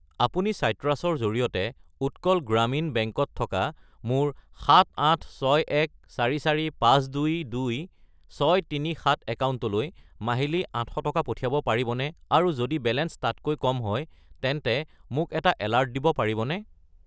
আপুনি চাইট্ৰাছ -ৰ জৰিয়তে উৎকল গ্ৰামীণ বেংক -ত থকা মোৰ 786144522,637 একাউণ্টলৈ মাহিলী 800 টকা পঠিয়াব পাৰিবনে আৰু যদি বেলেঞ্চ তাতকৈ কম হয় তেন্তে মোক এটা এলাৰ্ট দিব পাৰিবনে?